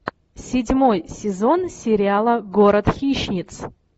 седьмой сезон сериала город хищниц